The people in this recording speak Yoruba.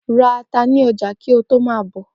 Ra ata ni ọjà kí ó to ma bọ̀.